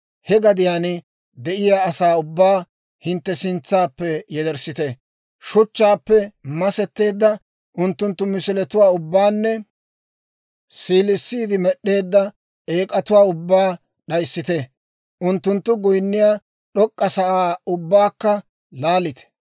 he gadiyaan de'iyaa asaa ubbaa hintte sintsaappe yederssite; shuchchaappe masetteedda unttunttu misiletuwaa ubbaanne siilissiide med'd'eedda eek'atuwaa ubbaa d'ayissite. Unttunttu goyinniyaa d'ok'k'a sa'aa ubbaakka laalite.